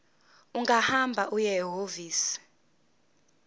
ungahamba uye ehhovisi